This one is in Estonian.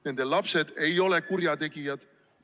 Nende lapsed ei ole kurjategijad.